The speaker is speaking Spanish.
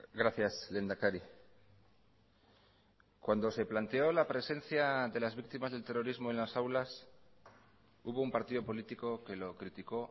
gracias lehendakari cuando se planteó la presencia de las víctimas del terrorismo en las aulas hubo un partido político que lo criticó